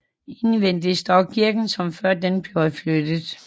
Indvendig står kirken som før den blev flyttet